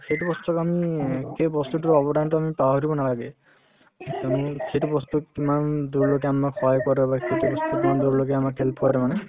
সেইটো বস্তুত আমি সেই বস্তুতোৰ অৱদানতো আমি পাহৰিব নালাগে তুমি সেইটো বস্তুত তোমাৰ সহায় কৰা বা কেতিয়াবা